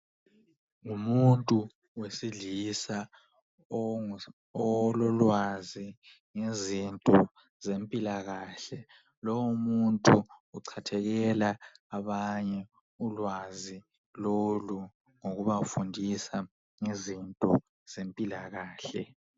Ngumuntu wesilisa ololwazi ngezinto zempilakahle lowu muntu uchathekela abanye ulwazi lolu ngokubafundisa ngezempilakahle.